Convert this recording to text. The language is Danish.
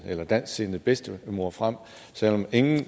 en dansksindet bedstemor frem selv om ingen